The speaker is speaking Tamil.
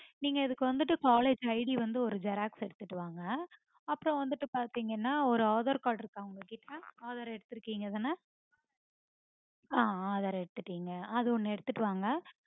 நீங்க அதுக்கு வந்துட்டு collegeID வந்து ஒரு xerox எடுத்துட்டு வாங்க. அப்புறம் வந்துட்டு பாத்தீங்கன்னா ஒரு aadhar card இருக்கா உங்ககிட்ட? aadhar எடுத்து இருக்கீங்கதான? அஹ் aadhar எடுத்துட்டீங்க. அஹ் அது ஒன்னு எடுத்துட்டு வாங்க